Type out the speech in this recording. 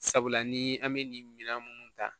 Sabula ni an bɛ nin minɛn minnu ta